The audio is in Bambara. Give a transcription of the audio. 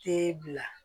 Te bila